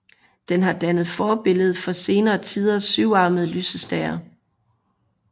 Den har dannet forbillede for senere tiders syvarmede lysestager